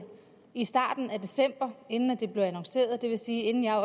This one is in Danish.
i starten af december inden det blev annonceret og det vil sige inden jeg